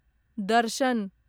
दर्शन